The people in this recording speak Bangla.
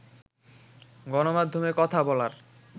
গণমাধ্যমে কথা বলার